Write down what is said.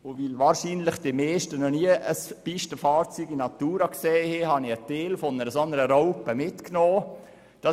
Weil wahrscheinlich die meisten von Ihnen noch nie ein Pistenfahrzeug aus der Nähe betrachtet haben, zeige ich Ihnen nun einen Teil einer solchen Raupe.